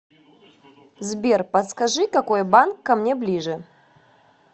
сбер подскажи какой банк ко мне ближе